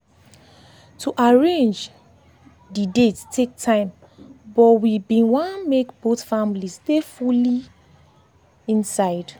to arrange dey date take time but we been want make both families dey fully families dey fully inside.